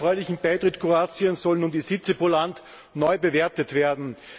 Mit dem erfreulichen Beitritt Kroatiens sollen nun die Sitze pro Land neu bewertet werden.